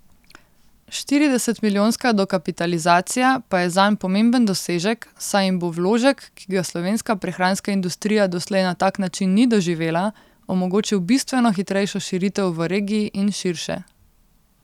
Štiridesetmilijonska dokapitalizacija pa je zanj pomemben dosežek, saj jim bo vložek, ki ga slovenska prehranska industrija doslej na tak način ni doživela, omogočil bistveno hitrejšo širitev v regiji in širše.